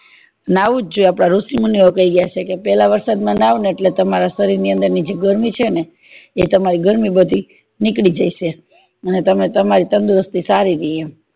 નાહવા જ જોઈએ ઋષિ મુની ઓ કય ગયા છે કે પેલા વરસાદ માં નવ ને તમરી શરીર ની અંદર ની જે ગરમી છે ને એ તમારી ગરમી બધી નીકળી જાય છે ને તમારી તંદુરસ્તી સારી રેય એમ